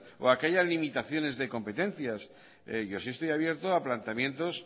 o a que haya limitaciones de competencias yo sí estoy abierto a planteamientos